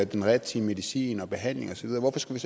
den rigtige medicin og behandling og så videre hvorfor skulle